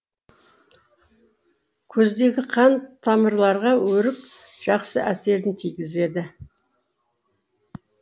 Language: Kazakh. көздегі қан тамырларға өрік жақсы әсерін тигізеді